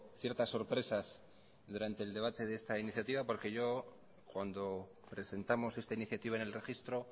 ciertas sorpresas durante el debate de esta iniciativa porque cuando presentamos esta iniciativa en el registro